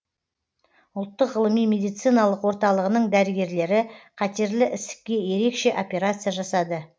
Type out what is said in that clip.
ұлттық ғылыми медициналық орталығының дәрігерлері қатерлі ісікке ерекше операция жасады